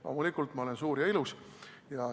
Loomulikult olen ma suur ja ilus.